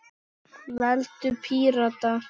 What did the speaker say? Veldu Pírata.